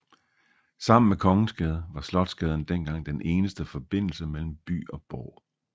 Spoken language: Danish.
Sammen med Kongensgade var Slotsgaden dengang den eneste forbindelse mellem by og borg